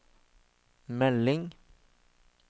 melding